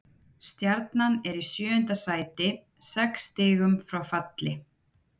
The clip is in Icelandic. Stjarnan er í sjöunda sæti, sex stigum frá falli.